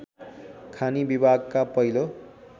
खानी विभागका पहिलो